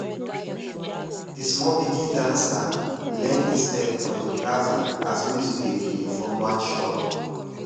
de small pikin dancer learn e step for de plaza as music dey play from one shop